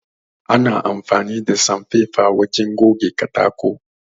Ana amfani da sanfefa wajen goge katako